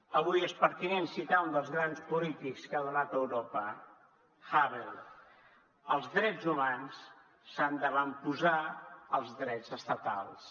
avui és pertinent citar un dels grans polítics que ha donat europa havel els drets humans s’han d’avantposar als drets estatals